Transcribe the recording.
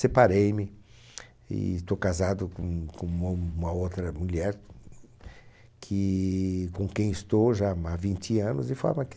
Separei-me e estou casado com com uma uma outra mulher, com quem estou já há vinte anos, de forma que...